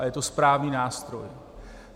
A je to správný nástroj.